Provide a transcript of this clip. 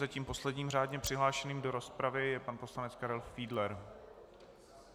Zatím posledním řádně přihlášeným do rozpravy je pan poslanec Karel Fiedler.